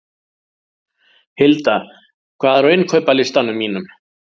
Hilda, hvað er á innkaupalistanum mínum?